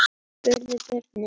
spurðu börnin.